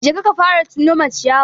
Jeka ka fara nome ciyayi.